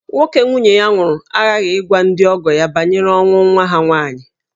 Nwoke nwunye ya nwụrụ aghaghị ịgwa ndị ọgọ ya banyere ọnwụ nwa ha nwaanyị